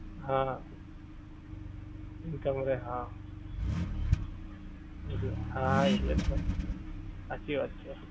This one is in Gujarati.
હા income મળે હા. એટલે હા એટલે જ ને હાંચી વાત છે.